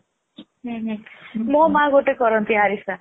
Fillମୋ ମା ଗୋଟେ କରନ୍ତି ଆରିସା